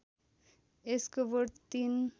यसको बोट ३